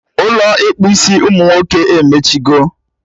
Ụlọ ịkpụ isi umunwoke emechigo